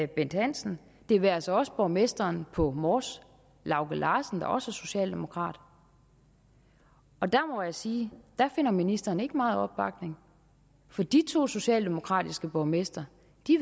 bent hansen det være sig også borgmesteren på mors lauge larsen der også er socialdemokrat der må jeg sige at ministeren ikke finder meget opbakning for de to socialdemokratiske borgmestre